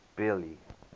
billy